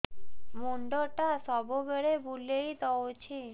ମୁଣ୍ଡଟା ସବୁବେଳେ ବୁଲେଇ ଦଉଛି